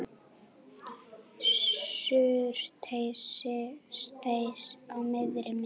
Surtsey á miðri mynd.